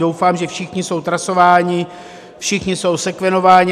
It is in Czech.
Doufám, že všichni jsou trasováni, všichni jsou sekvenováni.